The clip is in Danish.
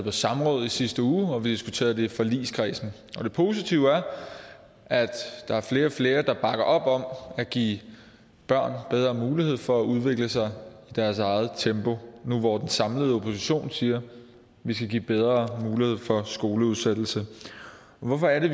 et samråd i sidste uge og vi har diskuteret det i forligskredsen og det positive er at der er flere og flere der bakker op om at give børn bedre mulighed for at udvikle sig i deres eget tempo nu hvor den samlede opposition siger at vi skal give bedre mulighed for skoleudsættelse hvorfor er det